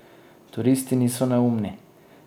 Turisti niso neumni.